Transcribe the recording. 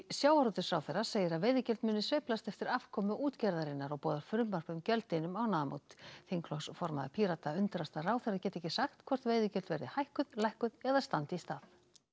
sjávarútvegsráðherra segir að veiðigjöld muni sveiflast eftir afkomu útgerðarinnar og boðar frumvarp um gjöldin um mánaðamót þingflokksformaður Píratar undrast að ráðherra geti ekki sagt hvort veiðigjöld verði hækkuð lækkuð eða standi í stað